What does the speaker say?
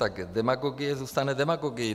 Tak demagogie zůstane demagogií.